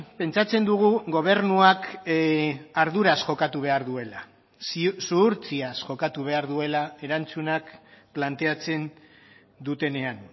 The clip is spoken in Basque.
pentsatzen dugu gobernuak arduraz jokatu behar duela zuhurtziaz jokatu behar duela erantzunak planteatzen dutenean